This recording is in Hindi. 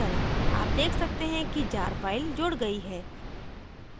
आप देख सकते हैं कि jar file जुड़ गई है